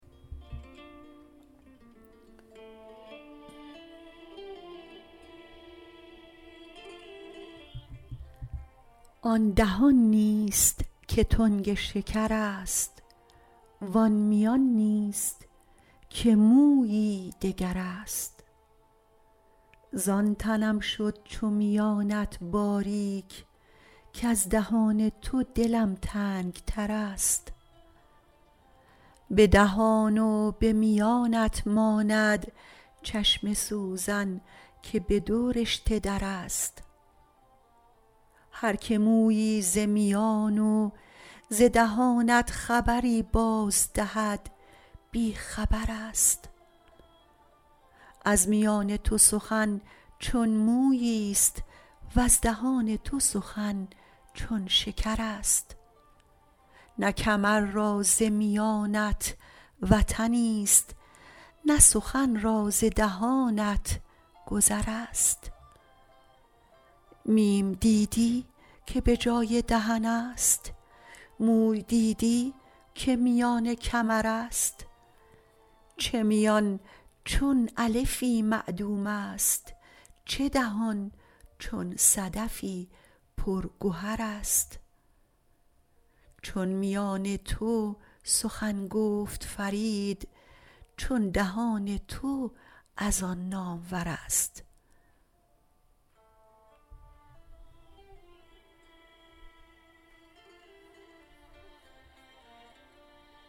آن دهان نیست که تنگ شکر است وان میان نیست که مویی دگر است زان تنم شد چو میانت باریک کز دهان تو دلم تنگ تر است به دهان و به میانت ماند چشم سوزن که به دو رشته در است هر که مویی ز میان و ز دهانت خبری باز دهد بی خبر است از میان تو سخن چون مویی است وز دهان تو سخن چون شکر است نه کمر را ز میانت وطنی است نه سخن را ز دهانت گذر است میم دیدی که به جای دهن است موی دیدی که میان کمر است چه میان چون الفی معدوم است چه دهان چون صدفی پر گوهر است چون میان تو سخن گفت فرید چون دهان تو از آن نامور است